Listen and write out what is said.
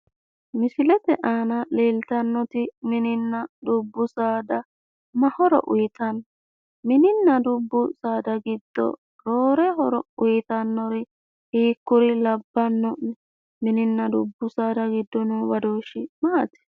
Misilete aana leeltannoti mininna dubbu saada ma horo uyiitanno? Mininna dubbu saada giddo roore horo uyiitannori hiikkuri labbanno'ne? Mininna dubbu saada giddo noo badoshshi maati?